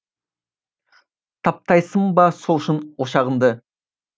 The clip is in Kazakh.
таптайсың ба сол үшін ошағыңды